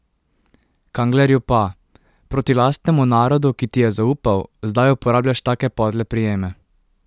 Kanglerju pa: 'Proti lastnemu narodu, ki ti je zaupal, zdaj uporabljaš take podle prijeme.